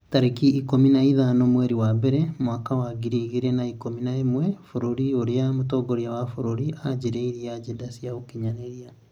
tarĩki ikũmi na ithano mweri wa mbere mwaka wa ngiri igĩrĩ na ikũmi na ĩmwe Bũrũri ũrĩa mũtongoria wa bũrũri aagirĩtie ngenda cia ũkinyanĩria